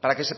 para que se